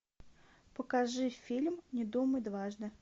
покажи фильм не думай дважды